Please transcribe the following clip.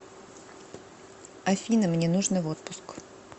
афина мне нужно в отпуск